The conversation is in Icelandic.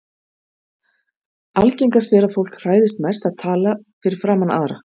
algengast er að fólk hræðist mest að tala fyrir framan aðra